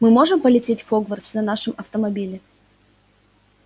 мы можем полететь в хогвартс на нашем автомобиле